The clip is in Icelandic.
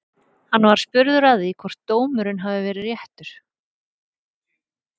Hann var spurður að því hvort dómurinn hafi verið réttur?